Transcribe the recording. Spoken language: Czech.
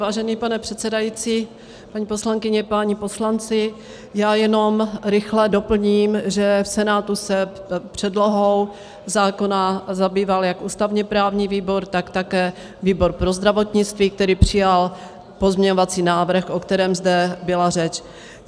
Vážený pane předsedající, paní poslankyně, páni poslanci, já jenom rychle doplním, že v Senátu se předlohou zákona zabýval jak ústavně-právní výbor, tak také výbor pro zdravotnictví, který přijal pozměňovací návrh, o kterém zde byla řeč.